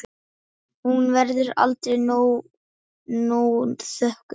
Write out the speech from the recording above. Hún verður aldrei nóg þökkuð.